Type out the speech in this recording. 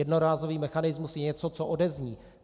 Jednorázový mechanismus je něco, co odezní.